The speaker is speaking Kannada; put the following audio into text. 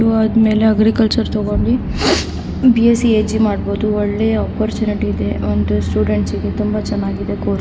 ಪಿ.ಯು ಆದ್ ಮೇಲೆ ಅಗ್ರಿಕಲ್ಚರಲ್ ತಗುಂಡಿ ಬಿ.ಎಸ್.ಸಿ ಹಜ್ ಮಾಡಬಹುದು ಒಳ್ಳೆಯ ಅಪೊರ್ಚುನೆಟಿ ಇದೆ ಅಂಡ್ ಸ್ಟೂಡೆಂಟ್ಸ್ ಗೆ ತುಂಬಾ ಚನ್ನಾಗಿದೆ ಕೋರ್ಸ್ .